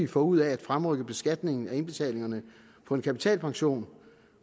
får ud af at fremrykke beskatningen af indbetalingerne på en kapitalpension